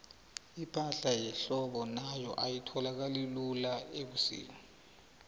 ipahla yehlobo nayo ayitholakali lula ubusika